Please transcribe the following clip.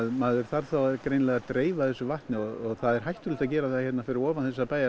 maður þarf þá greinilega að dreifa þessu vatni og það er hættulegt að gera það hérna fyrir ofan þessar